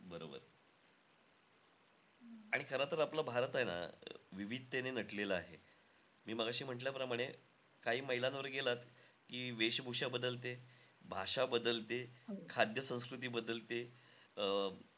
आणि खरं तर आपला भारत आहे ना, विविधतेने नटलेला आहे. मी मघाशी म्हंटल्याप्रमाणे, काही मैलांवर गेलात की, वेशभूषा बदलते, भाषा बदलते, खाद्य-संस्कृती बदलते. अं